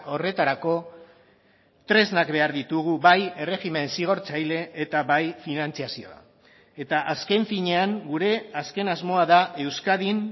horretarako tresnak behar ditugu bai erregimen zigortzaile eta bai finantzazioa eta azken finean gure azken asmoa da euskadin